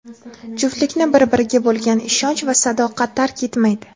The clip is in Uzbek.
juftlikni bir-biriga bo‘lgan ishonch va sadoqat tark etmaydi.